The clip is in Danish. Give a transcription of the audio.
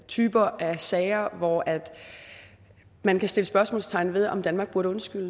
typer af sager hvor man kan sætte spørgsmålstegn ved om danmark burde undskylde